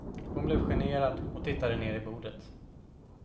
Hon blev generad och tittade ner i bordet.